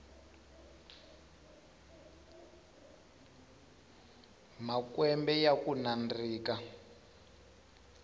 makwembe yakunandzika